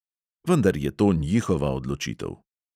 Vendar je to njihova odločitev.